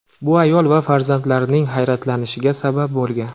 Bu ayol va farzandlarining hayratlanishiga sabab bo‘lgan.